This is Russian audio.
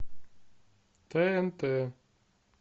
тнт